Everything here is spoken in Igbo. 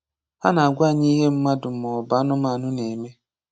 Ha na-agwa anyị ihe mmadụ ma ọ bụ anụmanụ na-eme.